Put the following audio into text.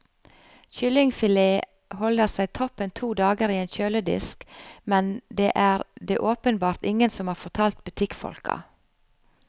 Kyllingfilet holder seg toppen to dager i en kjøledisk, men det er det åpenbart ingen som har fortalt butikkfolka.